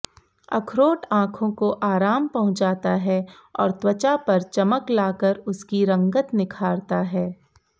अखरोट आँखों को आराम पहुंचाता है और त्वचा पर चमक लाकर उसकी रंगत निखारता है